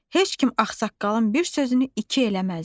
Heç kim ağsaqqalın bir sözünü iki eləməzdi.